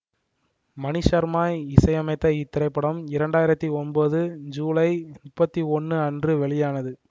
மணிசர்மா இசையமைத்த இத்திரைப்படம் இரண்டு ஆயிரத்தி ஒன்பது சூலை முப்பத்தி ஒன்னு அன்று வெளியானது